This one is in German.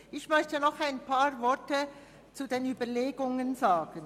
Ich möchte noch einige Worte zu unseren Überlegungen sagen.